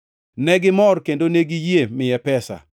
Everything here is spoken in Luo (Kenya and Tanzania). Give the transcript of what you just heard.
Negimor kendo ne giyie miye pesa.